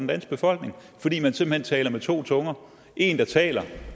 danske befolkning fordi man simpelt hen taler med to tunger en der taler